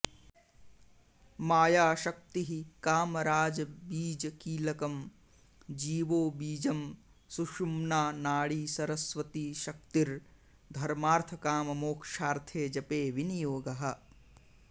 मायाशक्तिः कामराजबीजकीलकम् जीवो बीजम् सुषुम्ना नाडी सरस्वती शक्तिर्धर्मार्त्थकाममोक्षार्त्थे जपे विनियोगः